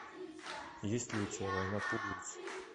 есть ли у тебя война пуговиц